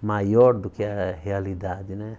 maior do que a realidade, né?